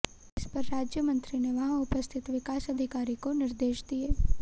इस पर राज्यमंत्री ने वहां उपस्थित विकास अधिकारी को निर्देश दिए